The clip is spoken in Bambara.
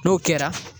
N'o kɛra